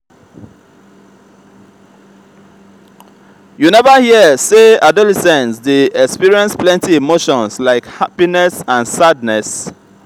you neva hear sey adolescents dey experience plenty emotions like happiness and sadness.